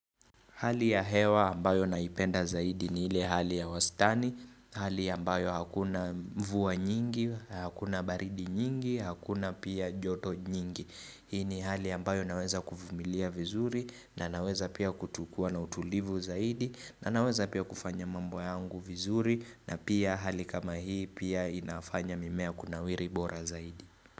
Hali ya hewa ambayo naipenda zaidi ni ile hali ya wastani, hali ambayo hakuna mvua nyingi, hakuna baridi nyingi, hakuna pia joto nyingi. Hii ni hali ambayo naweza kuvumilia vizuri na naweza pia kua na utulivu zaidi na naweza pia kufanya mambo yangu vizuri na pia hali kama hii pia inafanya mimea kunawiri bora zaidi.